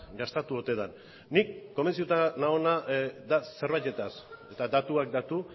gastatu ote den ni konbentzituta nagoena da zerbaitetaz eta datuak datu